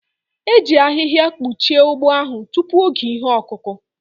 E ji ahịhịa kpuchie ugbo ahụ tupu oge ihe ọkụkụ